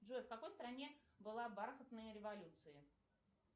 джой в какой стране была бархатная революция